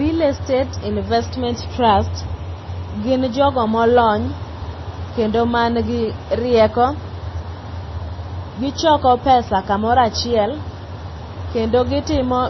Real Estate investment trust gin jogo molony kendo man gi rieko. Gichoko pesa kumoro achiel kendo gitimo